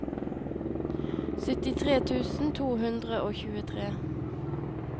syttitre tusen to hundre og tjuetre